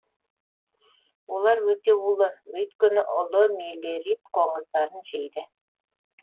олар өте улы өйткені улы мелирид қоңыздарын жейді